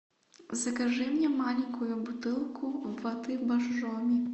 закажи мне маленькую бутылку воды боржоми